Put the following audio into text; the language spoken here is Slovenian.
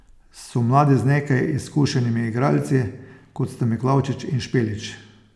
So mladi z nekaj izkušenimi igralci, kot sta Miklavčič in Špelič.